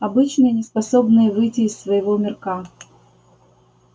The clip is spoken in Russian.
обычные неспособные выйти из своего мирка